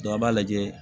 an b'a lajɛ